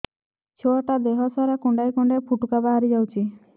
ଛୁଆ ଟା ଦେହ ସାରା କୁଣ୍ଡାଇ କୁଣ୍ଡାଇ ପୁଟୁକା ବାହାରି ଯାଉଛି